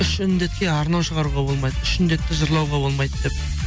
үш індетке арнау шығаруға болмайды үш індетті жырлауға болмайды деп